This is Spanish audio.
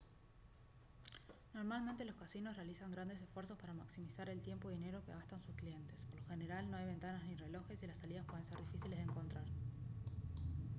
normalmente los casinos realizan grandes esfuerzos para maximizar el tiempo y dinero que gastan sus clientes por lo general no hay ventanas ni relojes y las salidas pueden ser difíciles de encontrar